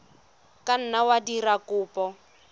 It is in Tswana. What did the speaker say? ka nna wa dira kopo